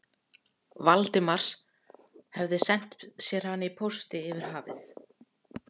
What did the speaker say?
Valdimars, hefði sent sér hana í pósti yfir hafið.